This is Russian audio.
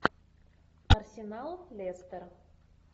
арсенал лестер